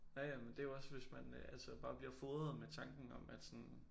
Ja ja men det jo også hvis man øh altså bare bliver fodret med tanken om at sådan